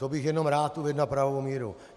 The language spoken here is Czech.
To bych jenom rád uvedl na pravou míru.